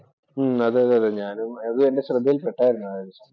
അതെ അതെ ഞാനും അതും എന്റെ ശ്രദ്ധയിൽ പെട്ടായിരുന്നു.